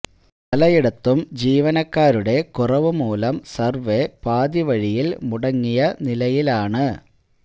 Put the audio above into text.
പലയിടത്തും ജീവനക്കാരുടെ കുറവ് മൂലം സര്വേ പാതി വഴിയില് മുടങ്ങിയ നിലയിലാണ്